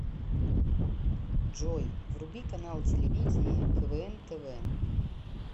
джой вруби канал телевидения квн тв